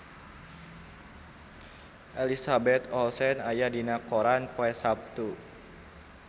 Elizabeth Olsen aya dina koran poe Saptu